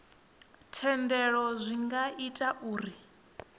thendelo zwi nga ita uri